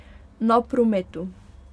Na prometu.